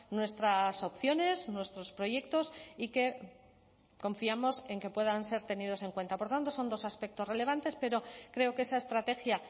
nuestras opciones nuestros proyectos y que confiamos en que puedan ser tenidos en cuenta por tanto son dos aspectos relevantes pero creo que esa estrategia